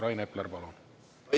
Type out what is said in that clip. Rain Epler, palun!